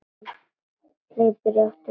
Hleypur í áttina að sjónum.